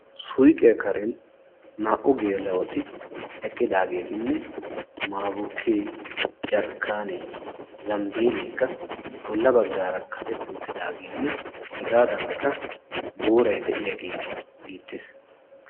Soyiqiya Karen naa"u geela'ti eqqidaageetinne maabukkee, jarkkaanee, zambileekka bolla baggaara kaqetti uttidaageenne hegaadaankka booray de'iyagee beettees.